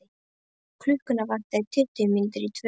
Klukkuna vantaði tuttugu mínútur í tvö.